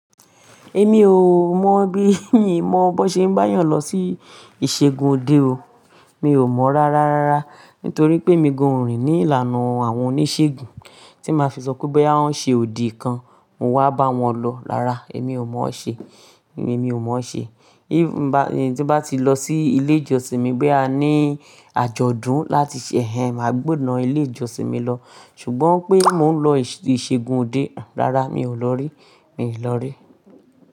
Èmi ò mọ̀ bí mo ṣe máa ba eeyàn lọ sí ìṣègùn òde o, mi ò mọ̀ rárá, rárá. Nítorí pé emi gan o rìn ní ìlànà àwọn oníṣègùn tí máa fi sọ pé bá ń ṣe òdì kan, mo wá bá wọn lọ. Rárá, èmi ò mọ̀ ọ́n ṣe, èmi ò mọ̀ ọ́n ṣe. Tí bá ti lọ sí ilé ìjọsìn mi boya á ní àjọ̀dún láti ṣe, màá gbọ̀nà ilé ìjọsìn mi lọ. Ṣùgbọ́n pé mò ń lọ ìṣègùn òde, rárá mi ò lọ rí, mi ò lọ rí.